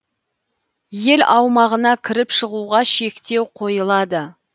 ел аумағына кіріп шығуға шектеу қойылады